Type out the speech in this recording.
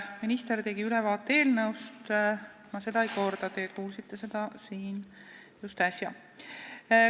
Minister tegi eelnõust ülevaate, mida ma ei korda, sest seda te siin äsja kuulsite.